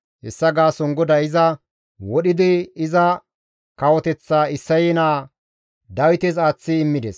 Hessa gaason GODAY iza wodhidi iza kawoteththaa Isseye naa Dawites aaththi immides.